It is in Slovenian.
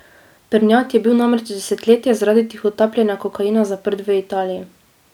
Prnjat je bil namreč desetletje zaradi tihotapljenja kokaina zaprt v Italiji.